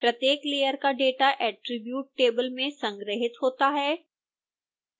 प्रत्येक layer का data attribute table में संग्रहीत होता है